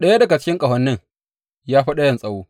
Ɗaya daga cikin ƙahonin ya fi ɗayan tsawo.